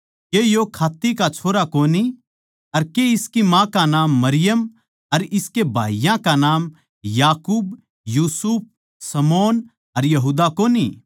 के यो खात्त्ती का छोरा कोनी अर के इसकी माँ का नाम मरियम अर इसके भाईयाँ के नाम याकूब यूसुफ शमौन अर यहूदा कोनी